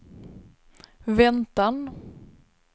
väntan